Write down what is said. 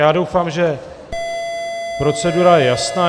Já doufám, že procedura je jasná.